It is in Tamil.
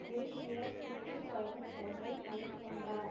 குறுகிய சுற்று பயணம் ஒன்றை மேற்கொண்டார்